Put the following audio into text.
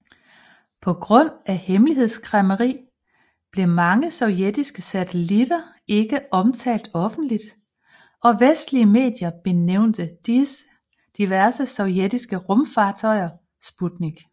På grund af hemmelighedskræmmeri blev mange sovjetiske satellitter ikke omtalt offentligt og vestlige medier benævnte diverse sovjetiske rumfartøjer Sputnik